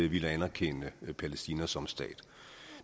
ville anerkende palæstina som stat